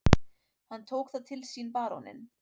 Hann tók það til sínBaróninn